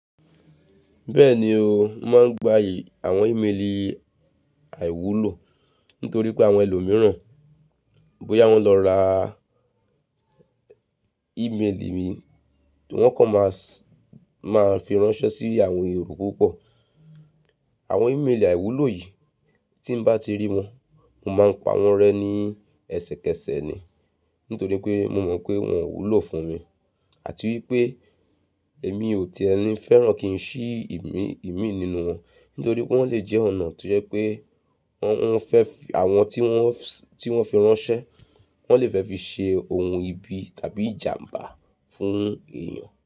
Bẹ́ẹ̀ni o, mo máa ń gba àwọn ìmeelì àìwúlò nítorí pé àwọn ẹlòmíràn bóyá wọ́n lọ ra ìmeelì mi, tí wọ́n kò máa máa fi ránṣẹ́ sí àwọn èrò púpọ̀. Àwọn ìmeelì àìwúlò yìí tí bá ti rí wọn, mo máa ń pa wọ́n rẹ́ ní ẹsẹkẹsẹ ni. Nítorí pé mo mọ̀ pé wọn ò wúlò fún mi àti wípé èmi ò ti ẹni fẹ́ràn kí ń ṣí ìmì nínú wọn. Nítorí pé wọ́n lè jẹ́ ọ̀nà tó jẹ́ pé wọ́n fẹ́ àwọn tí wọ́n fi ránṣẹ́, wọ́n lè fẹ́ fi ṣe ohùn ibi tàbí ìjàmbá fún èèyàn.